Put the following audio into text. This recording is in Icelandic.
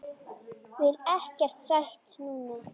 Vil ekkert sætt núna.